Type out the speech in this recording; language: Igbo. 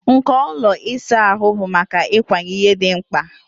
Nko ụlọ ịsa ahụ bụ maka ịkwanye ihe dị mkpa.